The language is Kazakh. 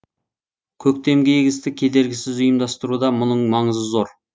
көктемгі егісті кедергісіз ұйымдастыруда мұның маңызы зор